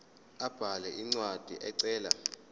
abhale incwadi ecela